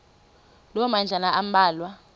loo madlalana ambalwa